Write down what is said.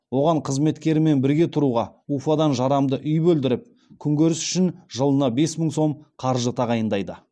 оған қызметкерімен бірге тұруға уфадан жарамды үй бөлдіріп күнкөріс үшін жылына бес мың сом қаржы тағайындайды